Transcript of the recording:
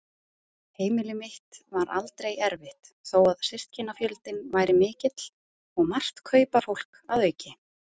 Heimili mitt var aldrei erfitt þó að systkinafjöldinn væri mikill og margt kaupafólk að auki.